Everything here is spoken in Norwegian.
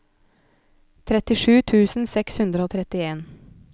trettisju tusen seks hundre og trettien